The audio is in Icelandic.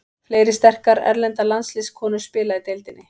Fleiri sterkar erlendar landsliðskonur spila í deildinni.